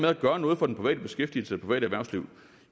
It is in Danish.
at gøre noget for den private beskæftigelse private erhvervsliv